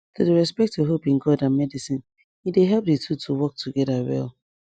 to dey respect your hope in god and medicine e dey help di two to work together well